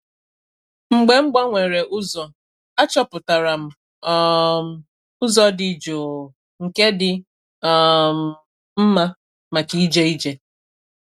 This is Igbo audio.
Mgbe m gbanwere ụzọ, achọpụtara m um ụzọ dị jụụ nke dị um mma maka ije ije.